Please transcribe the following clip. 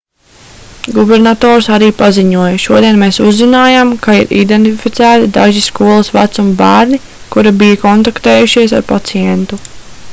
gubernators arī paziņoja šodien mēs uzzinājām ka ir identificēti daži skolas vecuma bērni kuri bija kontaktējušies ar pacientu